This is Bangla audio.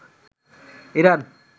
ইরান